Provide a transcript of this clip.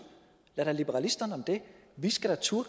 lad da liberalisterne om det vi skal da turde